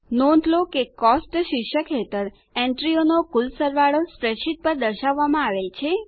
નોંધ લો કે કોસ્ટ્સ શીર્ષક હેઠળ એન્ટ્રીઓનો કુલ સરવાળો સ્પ્રેડશીટ પર દર્શાવવામાં આવેલ છે